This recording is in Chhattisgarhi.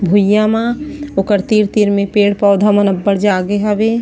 भुइया मा ओकर तीर-तीर म पेड़-पौधा मन अब्बड़ जागे हवे--